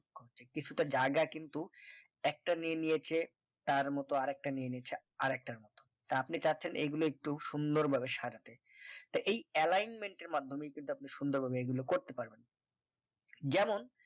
কিছুটা জায়গা কিন্তু একটা নিয়ে নিয়েছে তার মতো আর একটা নিয়ে নিয়েছে আরেকটার মতো তা আপনি চাচ্ছেন এগুলো একটু সুন্দরভাবে সাজাতে তা এই alignment এর মাধ্যমে কিন্তু আপনি সুন্দর ভাবে এগুলো করতে পারবেন যেমন